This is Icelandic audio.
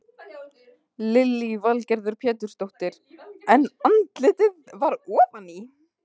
Lillý Valgerður Pétursdóttir: En andlitið var ofan í?